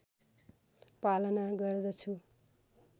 पालना गर्दछु